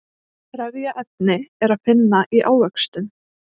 trefjaefni er að finna í ávöxtum